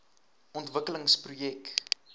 ontwikkelingsprojek